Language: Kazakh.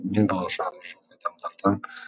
мен болашағы жоқ адамдардан